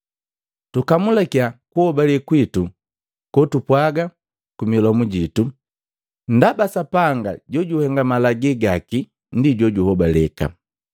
Tukamulakiya kuhobale kwitu kotupwaga ku milomu jitu, ndaba Sapanga jojahenga malagi gaki ndi jojuhobaleka.